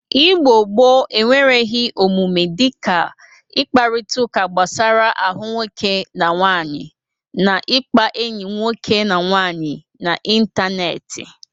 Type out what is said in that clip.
Igbo gboo enwereghi omume dịka ịkparịtaụka gbasara ahụ nwoke na nwaanyị na ịkpa enyi nwoke na nwaanyị n'ịntaneetị.